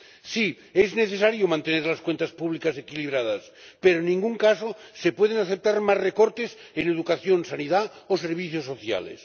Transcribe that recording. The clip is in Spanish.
Sí, es necesario mantener las cuentas públicas equilibradas pero, en ningún caso, se pueden aceptar más recortes en educación, sanidad o servicios sociales.